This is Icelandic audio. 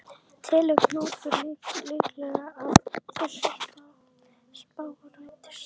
En telur Knútur líklegt að þessi spá rætist?